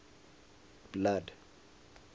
blood